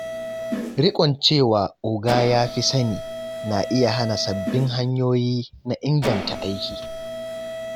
Rikon cewa “oga ya fi sani” na iya hana sababbin hanyoyi na inganta aiki.